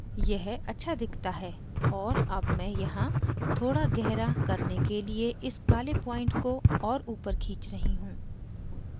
यह अच्छा दिखता है और अब मैं यहाँ थोड़ा गहरा करने के लिए इस काले point को और ऊपर खींच रही हूँ